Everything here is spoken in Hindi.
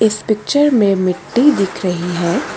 इस पिक्चर में मिट्टी दिख रही है।